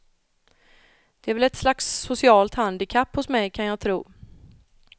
Det är väl ett slags socialt handikapp hos mig kan jag tro.